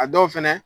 A dɔw fɛnɛ